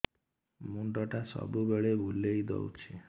ମୁଣ୍ଡଟା ସବୁବେଳେ ବୁଲେଇ ଦଉଛି